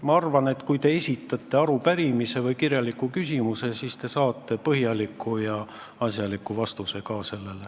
Ma arvan, et kui te esitate neile arupärimise või kirjaliku küsimuse, siis te saate sellele ka põhjaliku ja asjaliku vastuse.